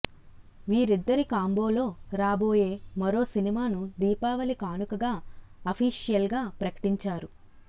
వీరిద్దరి కాంబోలో రాబోయే మరో సినిమాను దీపావళి కానుకగా అఫీషియల్గా ప్రకటించారు